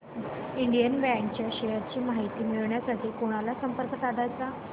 Indian bank च्या shares ची माहिती मिळविण्यासाठी कोणाला संपर्क साधायचा